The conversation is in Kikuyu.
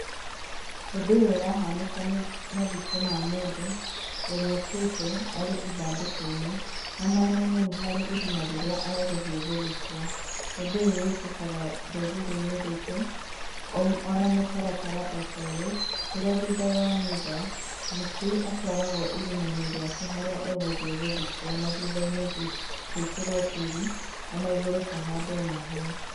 Ũndũ ũyũ ũrahanĩka nĩ mathiko ma mũndũ, ũrĩa ũkuĩte arĩ ithandũkũ-inĩ na mwena-inĩ nĩ harĩ irima rĩrĩa egũthiĩ gũthikwo. Ũndũ ũyũ wĩkĩkaga rũrĩrĩ-inĩ rũitũ, ona mũtaratara o ta ũyũ, kũrĩa thutha wa mitha, mũkui atwaragwo irima-inĩ rĩake harĩa egũthiĩ gũthikwo na thutha-inĩ gwĩkĩrwo tĩĩri o na igũrũ hahandwo mahũa.